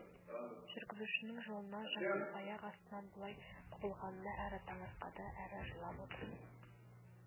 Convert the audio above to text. жүргізушінің жолынан жаңылып аяқ астынан бұлай құбылғанына әрі таңырқады әрі жылып отыр